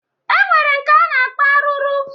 E nwere nke a na-akpọ arụrụ